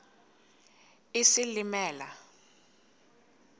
isilimela